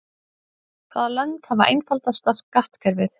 Hvaða lönd hafa einfaldasta skattkerfið?